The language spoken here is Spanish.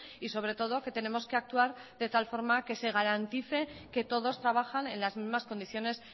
y sobre todo que tenemos que actuar de tal forma que se garantice que todos trabajan en las mismas condiciones